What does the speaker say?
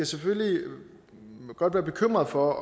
selvfølgelig godt være bekymret for